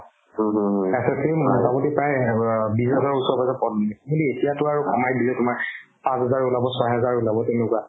SSC ৰ মতামতি প্ৰায় এ অব বিশ হাজাৰৰ ওচৰ-পাজৰৰ পদ ওলাইছিলে সেই এতিয়াতো আৰু কমাই দিলে তোমাৰ পাঁচহাজাৰ ওলাব ছয় হাজাৰ ওলাব তেনেকুৱা